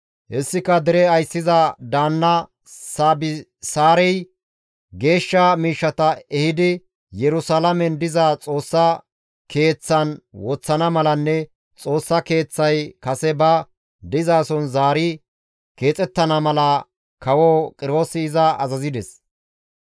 Hessika dere ayssiza daanna Saabisaarey geeshsha miishshata ehidi Yerusalaamen diza Xoossa Keeththan woththana malanne Xoossa Keeththay kase ba dizason zaari keexettana mala kawo Qiroosi iza azazides.